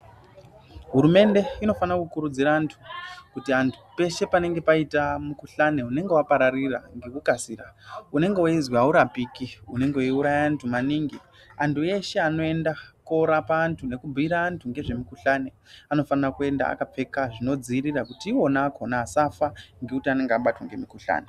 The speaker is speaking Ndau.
Hurumende inofanira kukurudzira vantu, kuti vantu pese panenge paita mukuhlani unenge wapararira nekukasira unenge uchinzi haurapiki, unenge uchiuraya antu maningi, antu eshe anoenda kundorapa antu nekupira antu nezvemukuhlani anofana kuenda akapfeka zvinodziirira kuutira kuti aone akona asafa ngekuti anenge abatwa ngemukuhlani.